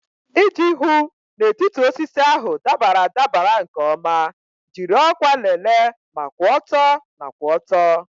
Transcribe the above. Iji hụ na etiti osisi ahụ dabara adabara nke ọma, jiri ọkwa lelee ma kwụ ọtọ na kwụ ọtọ.